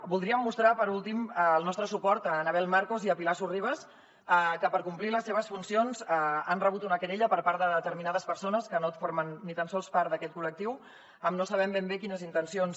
voldríem mostrar per últim el nostre suport a annabel marcos i a pilar sorribas que per complir les seves funcions han rebut una querella per part de determinades persones que no formen ni tan sols part d’aquest col·lectiu amb no sabem ben bé quines intencions